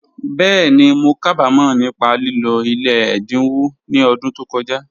Bẹ́ẹ̀ni, mó kábàmọ̀ nípá lìlọ̀ ilẹ̀ èdínwọ̀ ní ọ̀dún tó kọ̀jà